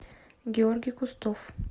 георгий кустов